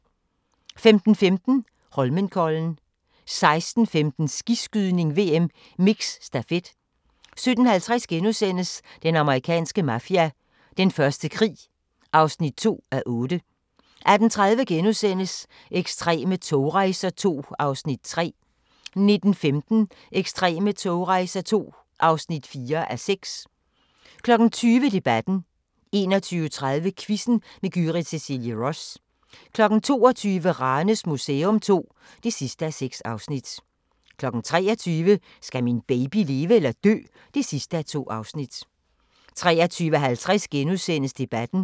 15:15: Holmenkollen 16:15: Skiskydning: VM - Mix Stafet 17:50: Den amerikanske mafia: Den første krig (2:8)* 18:30: Ekstreme togrejser II (3:6)* 19:15: Ekstreme togrejser II (4:6) 20:00: Debatten 21:30: Quizzen med Gyrith Cecilie Ross 22:00: Ranes Museum II (6:6) 23:00: Skal min baby leve eller dø? (2:2) 23:50: Debatten *